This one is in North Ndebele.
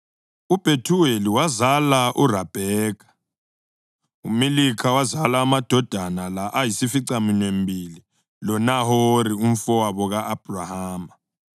UBhethuweli wazala uRabheka. UMilikha wazala amadodana la ayisificaminwembili loNahori umfowabo ka-Abhrahama.